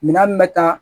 Minan min bɛ taa